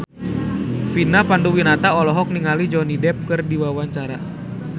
Vina Panduwinata olohok ningali Johnny Depp keur diwawancara